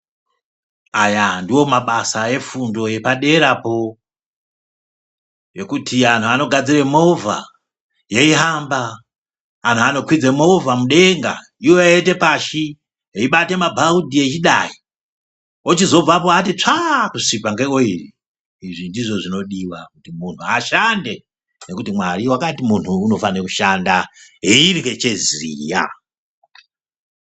Aya ndiwo mabasa efundo yepaderapo yekuti anhu anogadzire movha yeihamba, anhu anokwidze movha mudenga ivo veiende pashi, veibate mabhaudhi veidai, ochizobvapo atitsvaa kusvipa ngeoyiri, izvi ndizvo zvinodiwa kuti muntu ashande nekuti Mwari wakati muntu unofane kushanda eirye cheziya.